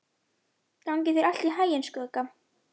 Gangi þér allt í haginn, Skugga.